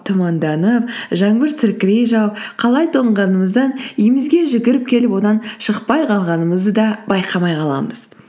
тұманданып жаңбыр сіркірей жауып қалай тоңғанымыздан үйімізге жүгіріп келіп одан шықпай қалғанымызды да байқамай қаламыз